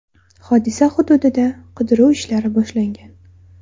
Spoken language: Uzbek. Hodisa hududida qidiruv ishlari boshlangan.